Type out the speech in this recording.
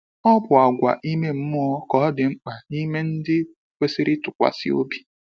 Ọ bụ àgwà ime mmụọ ka ọ dị mkpa n’ime ndị kwesịrị ntụkwasị obi.